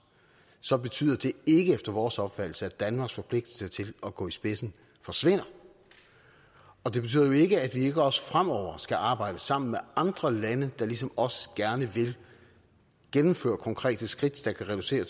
så betyder det ikke efter vores opfattelse at danmarks forpligtelse til at gå i spidsen forsvinder og det betyder jo ikke at vi ikke også fremover skal arbejde sammen med andre lande der ligesom os gerne vil gennemføre konkrete skridt der kan reducere